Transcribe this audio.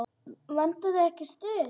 Vantar þig ekki stuð?